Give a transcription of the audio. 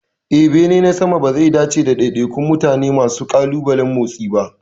Eh, bene na sama bazai dace da daidaikun mutane masu ƙalubalen motsi ba.